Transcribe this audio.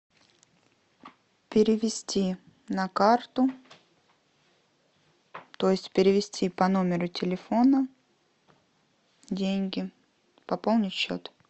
перевести на карту то есть перевести по номеру телефона деньги пополнить счет